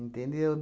Entendeu?